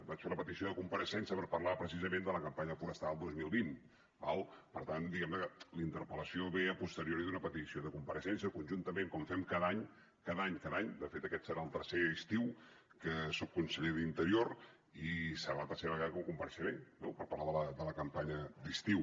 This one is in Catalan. vaig fer una petició de compareixença per parlar precisament de la campanya forestal dos mil vint d’acord per tant diguemne que la interpel·lació ve a posteriori d’una petició de compareixença conjuntament com fem cada any de fet aquest serà el tercer estiu que soc conseller d’interior i serà la tercera vegada que compareixeré no per parlar de la campanya d’estiu